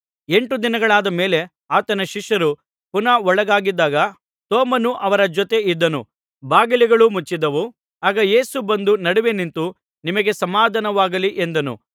ಎಂಟು ದಿನಗಳಾದ ಮೇಲೆ ಆತನ ಶಿಷ್ಯರು ಪುನಃ ಒಳಗಿದ್ದಾಗ ತೋಮನೂ ಅವರ ಜೊತೆ ಇದ್ದನು ಬಾಗಿಲುಗಳು ಮುಚ್ಚಿದ್ದವು ಆಗ ಯೇಸು ಬಂದು ನಡುವೆ ನಿಂತು ನಿಮಗೆ ಸಮಾಧಾನವಾಗಲಿ ಎಂದನು